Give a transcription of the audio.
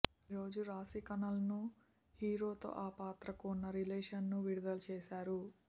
ఈరోజు రాశీఖన్నా లుక్ను హీరోతో ఆ పాత్రకు ఉన్న రిలేషన్ను విడుదల చేశారు